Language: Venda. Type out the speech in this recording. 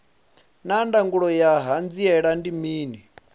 naa ndangulo ya hanziela ndi mini